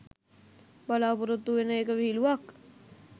බලාපොරොත්තු වෙන එක විහිලුවක්.